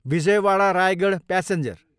Vijayawada, Raigarh passenger